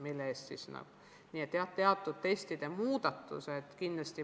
Nii et jah, kindlasti avaldavad mõju ka teatud testide muudatused.